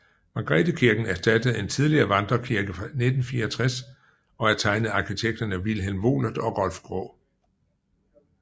Margrethekirken erstattede en tidligere vandrekirke fra 1964 og er tegnet af arkitekterne Vilhelm Wohlert og Rolf Graae